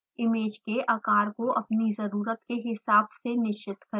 image के आकार को अपनी जरुरत के हिसाब से निश्चित करें